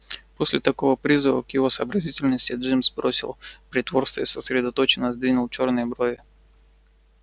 после такого призыва к его сообразительности джимс бросил притворство и сосредоточенно сдвинул чёрные брови